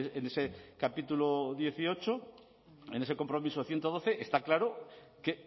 en ese capítulo dieciocho en ese compromiso ciento doce está claro que